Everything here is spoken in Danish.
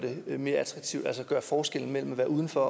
det mere attraktivt altså gøre forskellen mellem at være uden for